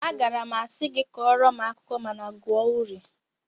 Agaara m asị gị kọọrọ m akụkọ mana gụọ uri